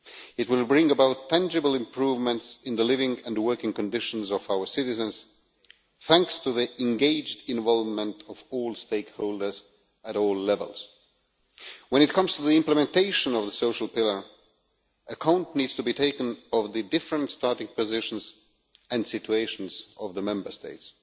It will bring about tangible improvements in the living and working conditions of our citizens thanks to the engaged involvement of all stakeholders at all levels. When it comes to the implementation of the Social Pillar, account needs to be taken of the different starting positions and situations of the Member States.